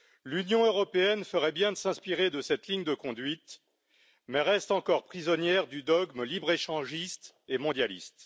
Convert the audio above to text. L'Union européenne ferait bien de s'inspirer de cette ligne de conduite, mais elle reste encore prisonnière du dogme libre échangiste et mondialiste.